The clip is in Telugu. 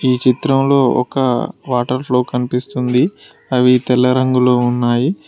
ఈ చిత్రంలో ఒక వాటర్ ఫ్లో కనిపిస్తుంది అవి తెల్ల రంగులో ఉన్నాయి.